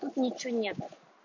тут ничего нет